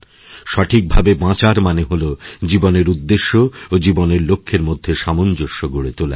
সঠিকভাবে বাঁচার মানে হল জীবনের উদ্দেশ্য ওজীবনের লক্ষ্যের মধ্যে সামঞ্জস্য গড়ে তোলা